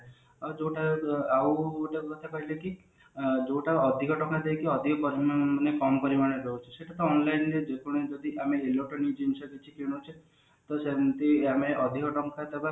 ଆଉ ଯୋଉ ଟା ଆଉ ଗୋଟେ କଥା କହିଲେ କି ଯୋଉ ଟା ଅଧିକା ଟଙ୍କା ଦେଇକି ଅଧିକ ପରିମାଣରେ ମାନେ କମ ପରିମାଣରେ ପାଉଛୁ ସେଟା ତ online ଯେ କୌଣସି ଯଦି ଆମେ electronic ଜିନିଷ କିଛି କିଣୁଛେ ତ ସେମତି ଆମେ ଅଧିକ ଟଙ୍କା ଦବା